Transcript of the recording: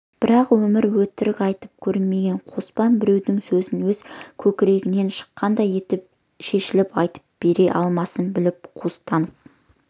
бірақ өмірі өтірік айтып көрмеген қоспан біреудің сөзін өз көкірегінен шыққандай етіп шешіліп айтып бере алмасын біліп қуыстанып